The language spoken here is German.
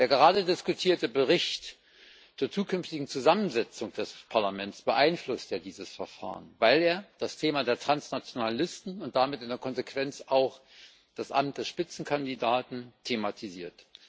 Der gerade diskutierte Bericht zur zukünftigen Zusammensetzung des Parlaments beeinflusst ja dieses Verfahren, weil er das Thema der transnationalen Listen und damit in der Konsequenz auch das Amt des Spitzenkandidaten thematisiert.